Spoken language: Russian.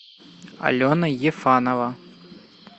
алена ефанова